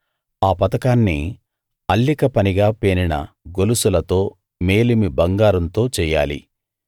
ఆ పతకాన్ని అల్లిక పనిగా పేనిన గొలుసులతో మేలిమి బంగారంతో చెయ్యాలి